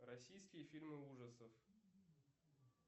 российские фильмы ужасов